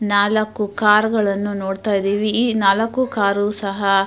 ನಾಲಕ್ಕು ಕಾರು ಗಳನ್ನು ನೋಡ್ತಾ ಇದ್ದಿವಿ ಈ ನಾಲಕ್ಕು ಕಾರು ಸಹ.